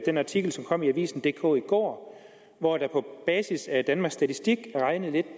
den artikel som kom i avisendk i går i går hvor der på basis af danmarks statistik blev regnet lidt